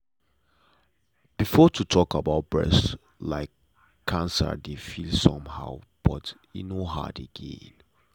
before to talk about breast like cancer dey feel somehow but now e no hard again.